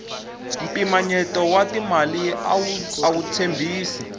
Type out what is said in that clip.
mpimanyeto wa timali awu tshembisi